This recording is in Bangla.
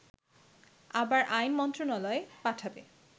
আবার আইন মন্ত্রণালয়ে পাঠাবে